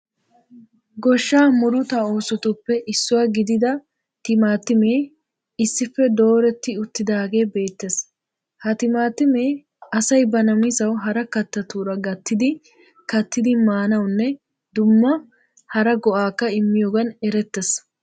Goshshaa murutaa oosotuppe issuwa gidida timatimee issippe dooretti uttidaage beettees. Ha timatimee asay ba namisawu hara kattattura gattidi kattidi maanawunne dumma hara go"aakka immiyogan erettees.